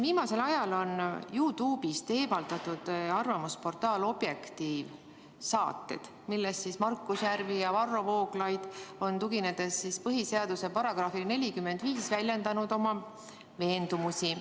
Viimasel ajal on YouTube'ist eemaldatud arvamusportaali Objektiiv saated, milles Markus Järvi ja Varro Vooglaid on põhiseaduse §-le 45 tuginedes väljendanud oma veendumusi.